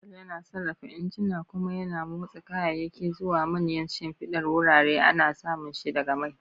Diesel yana sarrafa injuna kuma yana motsa kayayyaki zuwa manyan shimfidar wurare. Ana samun shi daga mai.